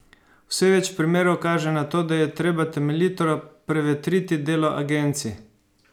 Vse več primerov kaže na to, da je treba temeljito prevetriti delo agencij.